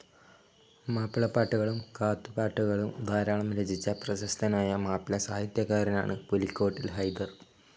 മാപ്പിളപ്പാട്ടുകളും കാത്തുപാട്ടുകളും ധാരാളം രചിച്ച പ്രശസ്തനായ മാപ്പിള സാഹിത്യകാരനാണ് പുലിക്കോട്ടിൽ ഹൈദർ.